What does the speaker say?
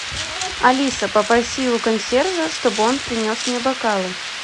алиса попроси у консьержа чтобы он принес мне бокалы